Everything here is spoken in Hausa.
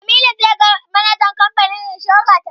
Jamilu zai ga manajan kamfanin inshora ta ƙasa.